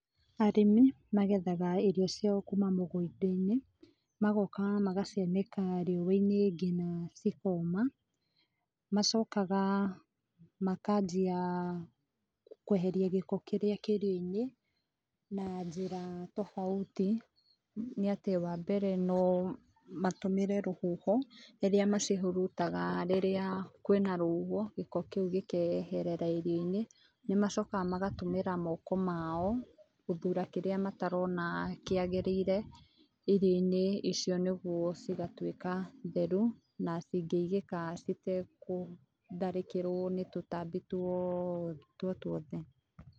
Arĩmi magethaga irio ciao kuma mũgũnda-inĩ, magoka magacianĩka riũa-inĩ ngina cikoma. Macokaga makanjia kweheria gĩko kĩrĩa kĩ irio-inĩ na njĩra tofauti . Nĩ atĩ wa mbere no matũmĩre rũhuho, rĩrĩa macihurutaga rĩrĩa kwĩna rũhuho, gĩko kĩu gĩkeherera irio-inĩ. Nĩ macokaga magatũmĩra moko mao gũthura kĩrĩa matarona kĩagĩrĩire irio-inĩ icio nĩ getha cigatuĩka theru na cingĩigĩka citegũtharĩkirwo nĩ tũtambĩ tuothe, tuotuothe.